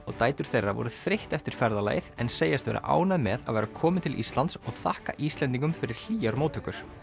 og dætur þeirra voru þreytt eftir ferðalagið en segjast vera ánægð með að vera komin til Íslands og þakka Íslendingum fyrir hlýjar móttökur